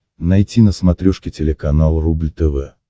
найти на смотрешке телеканал рубль тв